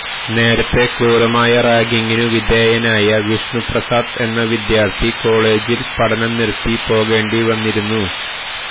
നേരത്തെ ക്രൂരമായ റാഗിങ്ങിനു വിധേയനായ വിഷ്ണു പ്രസാദ് എന്ന വിദ്യാര്ഥി കോളേജില് പഠനം നിര്ത്തി പോകേണ്ടി വന്നിരുന്നു